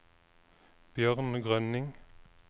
Bjørn Grønning